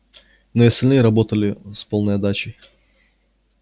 но и остальные работали с полной отдачей